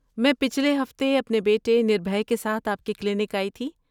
میں پچھلے ہفتے اپنے بیٹے نربھے کے ساتھ آپ کے کلینک آئی تھی۔